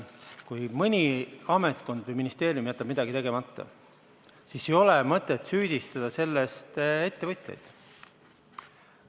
Kui mõni ametkond või ministeerium jätab midagi tegemata, siis ei ole mõtet süüdistada selles ettevõtjaid.